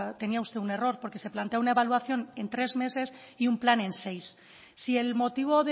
tenía usted un error porque se plantea una evaluación en tres meses y un plan en seis si el motivo